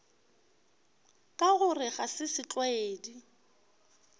ka gore ga se setlwaedi